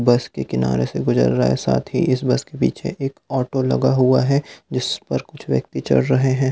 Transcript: बस के किनारे से गुजर रहा है साथ ही इस बस के पीछे एक ऑटो लगा हुआ है जिस पर कुछ व्यक्ति चढ़ रहे हैं।